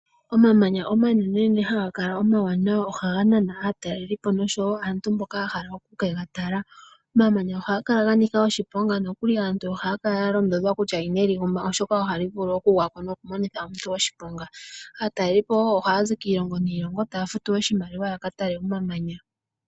Omamanya omanene haga kala omawana ohaga nana aatalelipo oshowo aantu mboka ya hala oku kega tala, omamanya ohaga kala ga nika oshiponga nokuli aantu ohaya kala ya londodhwa kutya ino li guma oshoka ohali vulu oku gwa ko noha li monika omuntu oshiponga, aatalelipo wo ohaya zi kiilongo niilonga taya futu oshimaliwa ya katale omamanya.